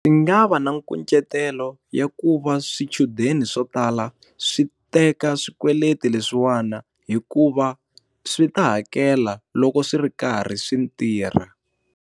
Swi nga va na nkucetelo ya ku va swichudeni swo tala swi teka swikweleti leswiwani, hikuva swi ta hakela loko swi ri karhi swi ntirha.